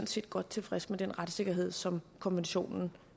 set godt tilfredse med den retssikkerhed som konventionen